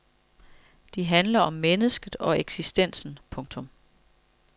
De handler om mennesket og eksistensen. punktum